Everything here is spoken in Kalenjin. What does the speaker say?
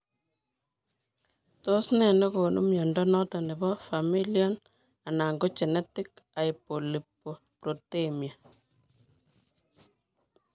Tos nee negonu mnyondo noton nebo familial anan ko genetic hypolipoproteinemia